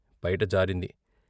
పైట జారింది.